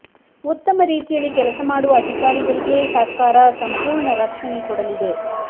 ಉತ್ತಮ ರೀತಿಯಲ್ಲಿ ಕೆಲಸ ಮಾಡುವ ಅಧಿಕಾರಿಗಳಿಗೆ ಸರ್ಕಾರ ಸಂಪೂರ್ಣ ರಕ್ಷಣೆ ಕೊಡಲಿದೆ